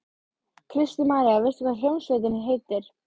Kristín María: Veistu hvað hljómsveitin heitir?